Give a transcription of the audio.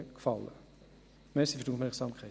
Danke für die Aufmerksamkeit.